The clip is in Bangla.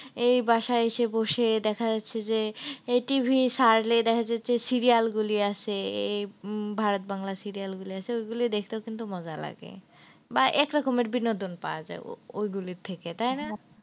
এই বাসায় এসে বসে দেখা যাচ্ছে যে এই TV চালালে দেখা যাচ্ছে যে serial গুলি আসে এই ভারত বাংলা serial গুলি আসে ওই গুলোই দেখতেও কিন্তু মজা লাগে। বা একরকমের বিনোদন পাওয়া যায় ও~ ওই গুলি থেকে তাইনা?